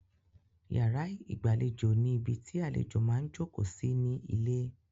Yàrá ìgbàlejò ní ibi tí àlejò máa ń jókòó sí ní ilé.